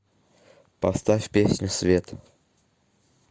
поставь песню свет